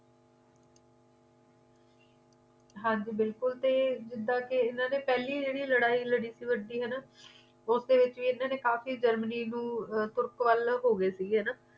ਹਾਂਜੀ ਬੁਲਕੁਲ ਤੇ ਜਿੰਦਾ ਕੇ ਏਨਾ ਨੇਪਹਲੀ ਜੇੜੀ ਲੜਾਈ ਲੜੀ ਸੀ ਵੱਡੀ ਹਨਾ ਉੱਤੇ ਕਾਫੀ ਜਰਮਨੀ ਨੂੰ ਤੁਰਕ ਵੱਲ ਹੋ ਗਏ ਸੀ ਹਨਾ